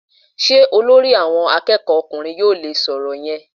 Sé Olórí àwọn akéèkó ọkùnrin yóò le é so òrò yen?